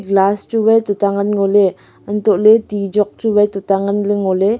glas chu wai tuta ngan ngoley untoley ti jok chu wai tuta nganley ngoley.